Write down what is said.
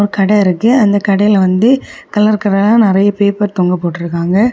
கட இருக்கு அந்த கடையில வந்து கலர் கலரா நிறைய பேப்பர் தொங்க போட்டுருக்காங்க.